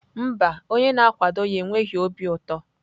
Mba, onye na-akwado ya enweghị obi ụtọ.